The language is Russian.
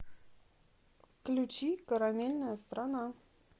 включи карамельная страна